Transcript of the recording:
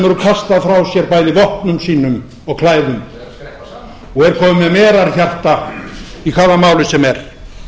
hefur kastað frá sér bæði vopnum sínum og klæðum og er kominn með merarhjarta í hvaða máli sem er